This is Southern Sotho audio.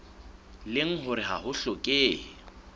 leng hore ha ho hlokehe